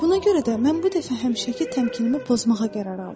Buna görə də mən bu dəfə həmişəki təmkinimi pozmağa qərar aldım.